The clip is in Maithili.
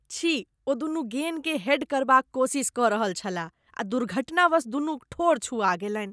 छी! ओ दुनू गेन्दकेँ हेड करबाक कोशिश कऽ रहल छलाह आ दुर्घटनावश दुनूक ठोर छुआ गेलनि ।